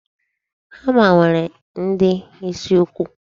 Hama nwere ndi isi nnukwu.